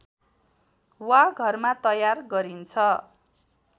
वा घरमा तयार गरिन्छ